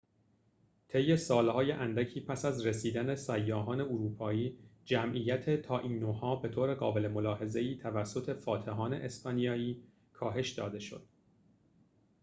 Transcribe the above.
طی سال‌های اندکی پس از رسیدن سیاحان اروپایی جمعیت تائینوها به طور قابل ملاحظه‌ای توسط فاتحان اسپانیایی کاهش داده شد